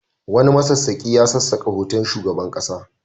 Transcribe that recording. Wani masassaƙi ya sassaka hoton shugaban ƙasa.